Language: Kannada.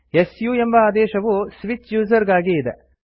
ಸು ಎಂಬ ಆದೇಶವು ಸ್ವಿಚ್ ಯುಸರ್ ಗಾಗಿ ಇದೆ